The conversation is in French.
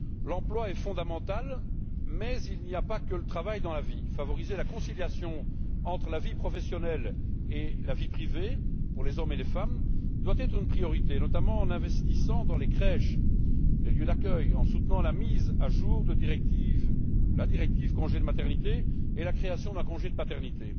L'emploi est fondamental, mais il n'y a pas que le travail dans la vie. Favoriser la conciliation entre la vie professionnelle et la vie privée pour les hommes et les femmes doit être une priorité, notamment en investissant dans les crèches, les lieux d'accueil, ainsi qu'en soutenant la mise à jour de la directive congé de maternité et la création d'un congé de paternité.